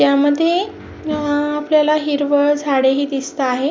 या मध्ये अह आपल्याला हिरवळ झाड ही दिसते आहे.